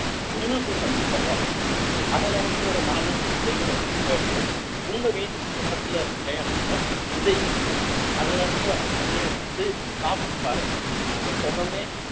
உங்களுக்கு கொஞ்சம் தருவாங்க அதுல இருந்து ஒரு நாலு அஞ்சு விதைகளை எடுத்துட்டு வந்து உங்க வீட்டுக்கு பக்கத்துல இருக்கிற இடத்துல விதைங்க அதுல இருந்து வர்ற கனியை எடுத்து சாப்பிட்டு பாருங்க இந்த சுகமே